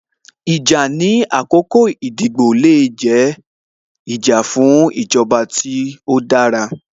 Ìjà ní àkọ́kọ́ ìdìbò le jẹ́, ìjà fún ìjọba tó dára